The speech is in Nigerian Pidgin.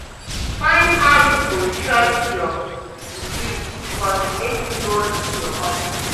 Find how yu go short yur utility cost mek yu no lose yur comfort